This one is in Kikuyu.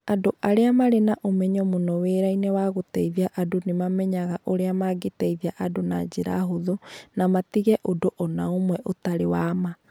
Andũ arĩa marĩ na ũmenyeru mũno wĩra-inĩ wa gũteithia andũ nĩ mamenyaga ũrĩa mangĩteithia andũ na njĩra hũthũ, na matige ũndũ o na ũmwe ũtarĩ wa ma.